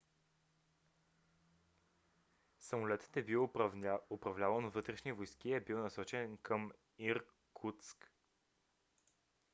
самолетът е бил управляван от вътрешни войски и е бил насочен към иркутск